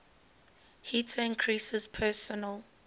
heater increases personal